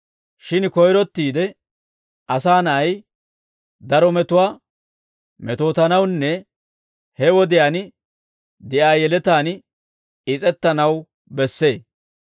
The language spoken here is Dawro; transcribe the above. Shin koyrottiide Asaa Na'ay daro metuwaa metootanawunne he wodiyaan de'iyaa yeletaan is's'ettanaw bessee.